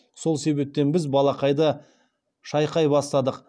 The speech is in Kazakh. сол себептен біз балақайды шайқай бастадық